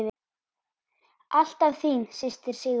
Alltaf þín systir, Sigrún.